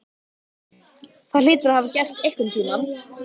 Það hlýtur að hafa gerst einhvern tíma.